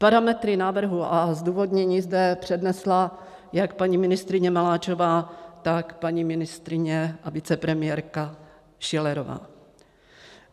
Parametry návrhu a zdůvodnění zde přednesla jak paní ministryně Maláčová, tak paní ministryně a vicepremiérka Schillerová.